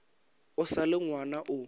o sa le ngwana o